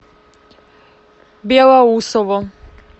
белоусово